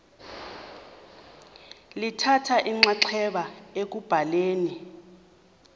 lithatha inxaxheba ekubhaleni